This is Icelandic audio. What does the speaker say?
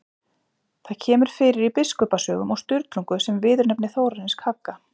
Það kemur fyrir í Biskupasögum og Sturlungu sem viðurnefni Þórarins kagga.